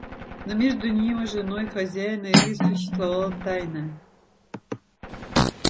но между ним и женой хозяина элис существовала тайна